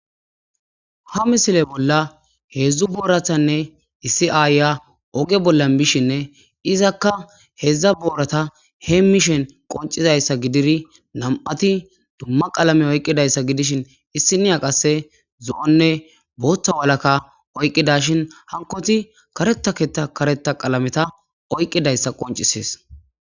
ha misile bolla heedzdzu booratanne issi aaya oge bollan bishinne izakka hedzdza boorata heemishen qoncizayssa gidiri nam'ati dumma qalame oyqqidayssa gidishin issiniya qasse zo'onne boottha walakka oyqqidashin hankoti karetaketa kareta qalameta oyqqidayssa qoncisees